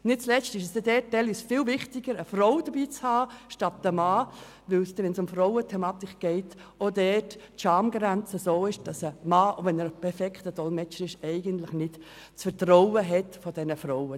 Nicht zuletzt ist es in einer solchen Situation viel wichtiger, eine Frau dabeizuhaben, wenn es um Frauenthemen geht, weil die Schamgrenze so hoch ist, dass ein Mann das Vertrauen dieser Frauen nicht hat, auch wenn er ein ausgezeichneter Dolmetscher ist.